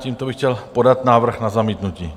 Tímto bych chtěl podat návrh na zamítnutí.